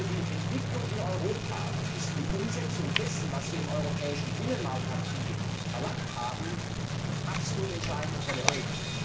Für die Entwicklung in Europa ist die Umsetzung dessen, was wir im europäischen Binnenmarktacquis erlangt haben, absolut entscheidend und relevant.